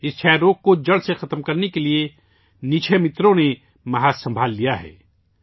اس تپ دق کو جڑ سے ختم کرنے کے لیے نکشے متروں نے مورچہ سنبھال لیا ہے